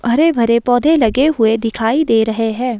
हरे-भरे पौधे लगे हुए दिखाई दे रहे हैं।